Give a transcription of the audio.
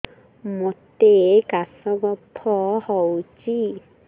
ମୋତେ କାଶ କଫ ହଉଚି